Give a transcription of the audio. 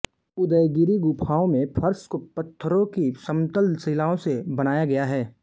उदयगिरि गुफाओं में फर्श को पत्थरों की समतल शिलाओं से बनाया गया है